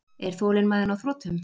Er þolinmæðin á þrotum?